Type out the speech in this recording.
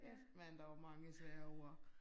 Kæft mand der var mange svære ord